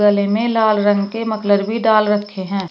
गले में लाल रंग के मोफलर भी डाल रखे हैं।